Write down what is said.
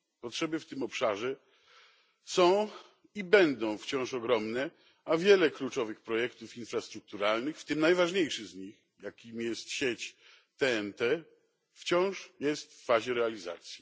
Potrzeby w tym obszarze są i będą wciąż ogromne, a wiele kluczowych projektów infrastrukturalnych, w tym najważniejszy z nich, jakim jest sieć TEN T, wciąż jest w fazie realizacji.